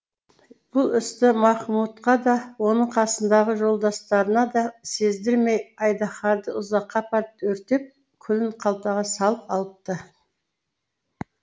бұл істі махмудқа да оның қасындағы жолдастарына да сездірмей айдаһарды ұзаққа апарып өртеп күлін қалтаға салып алыпты